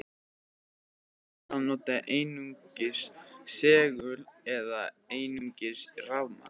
Já, það nægir jafnvel að nota einungis segul eða einungis rafmagn.